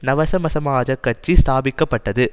நவசமசமாஜக் கட்சி ஸ்தாபிக்க பட்டது